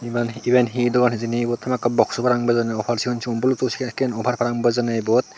iben hiyo dogan hijeni ibot hamakkiy box parapang bejonne woofer sigon sigon blutooth senekkin woofer parapang bejonne iyot.